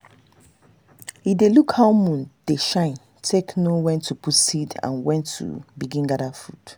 e dey look how moon dey shine take know when to put seed and when to begin gather food.